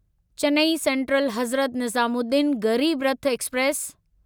Chennai central Hazrat Nizamuddin Garib Rath express